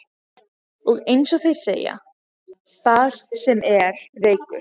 Og, eins og þeir segja: Þar sem er reykur.